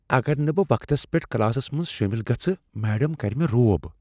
اگر نہٕ بہٕ وقتس پیٹھ کلاسس منٛز شٲمل گژھہٕ ، میڈم کرِ مےٚ روب ۔